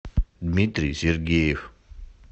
дмитрий сергеев